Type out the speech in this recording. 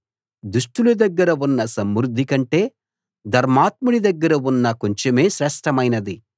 దుష్టుల దగ్గర ఉన్న సమృద్ధి కంటే ధర్మాత్ముడి దగ్గర ఉన్న కొంచెమే శ్రేష్ఠమైనది